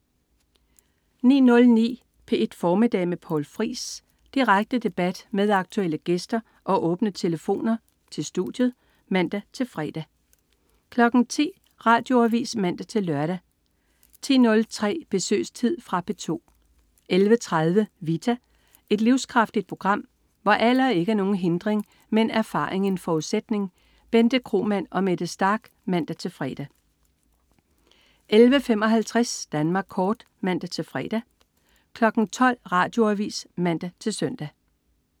09.09 P1 Formiddag med Poul Friis. Direkte debat med aktuelle gæster og åbne telefoner til studiet (man-fre) 10.00 Radioavis (man-lør) 10.03 Besøgstid. Fra P2 11.30 Vita. Et livskraftigt program, hvor alder ikke er nogen hindring, men erfaring en forudsætning. Bente Kromann og Mette Starch (man-fre) 11.55 Danmark Kort (man-fre) 12.00 Radioavis (man-søn)